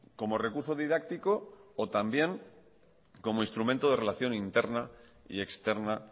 como recurso didáctico o también como instrumento de relación interna y externa